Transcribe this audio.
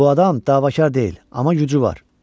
Bu adam davakar deyil, amma gücü var.